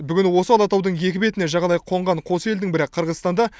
бүгін осы алатаудың екі бетіне жағалай қонған қос елдің бірі қырғызстанда